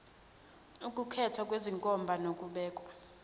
ukukhethwa kwezenkomba nokubekwa